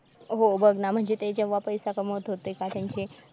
हो बघ ना म्हणजे ते जेव्हा पैसा कमवत होते का त्यांचे